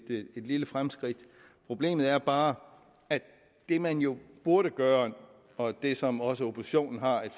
lille fremskridt problemet er bare at det man jo burde gøre og det som også oppositionen har et